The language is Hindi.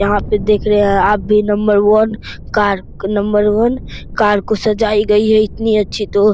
यहाँ पर देख रहे है आप भी number one car number one car को सजाई गई है इतनी अच्छी तो --